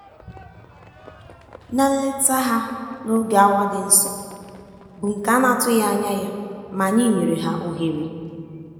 na nleta ha n'oge awa dị nsọ bụ nke a na-atụghị anya ya ma anyị nyere ha ohere.